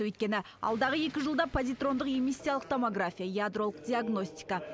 өйткені алдағы екі жылда позитрондық эмиссиялық томография ядролық диагностика